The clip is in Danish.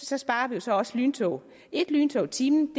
så sparer vi jo så også lyntog et lyntog i timen